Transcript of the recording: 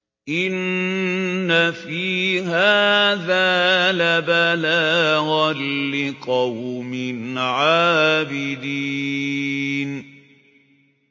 إِنَّ فِي هَٰذَا لَبَلَاغًا لِّقَوْمٍ عَابِدِينَ